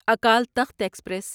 Akal Takht express